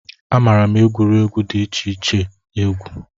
Amaara m egwuregwu dị iche iche egwu